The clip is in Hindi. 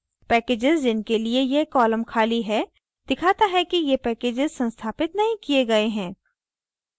packages जिनके लिए यह column खाली है दिखाता है कि ये packages संस्थापित नहीं किये गए हैं